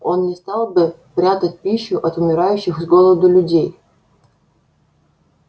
он не стал бы прятать пищу от умирающих с голоду людей